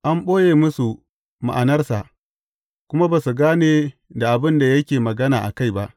An ɓoye musu ma’anarsa, kuma ba su gane da abin da yake magana a kai ba.